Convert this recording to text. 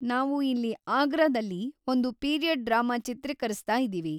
ನಾವು ಇಲ್ಲಿ ಆಗ್ರಾದಲ್ಲಿ ಒಂದು ಪೀರಿಯಡ್‌ ಡ್ರಾಮಾ ಚಿತ್ರೀಕರಿಸ್ತಾ ಇದೀವಿ.